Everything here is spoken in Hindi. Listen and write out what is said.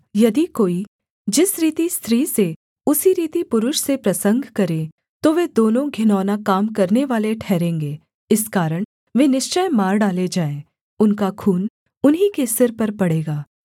यदि कोई जिस रीति स्त्री से उसी रीति पुरुष से प्रसंग करे तो वे दोनों घिनौना काम करनेवाले ठहरेंगे इस कारण वे निश्चय मार डाले जाएँ उनका खून उन्हीं के सिर पर पड़ेगा